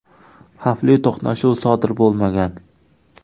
Xavfli to‘qnashuv sodir bo‘lmagan.